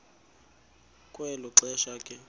kwelo xesha ke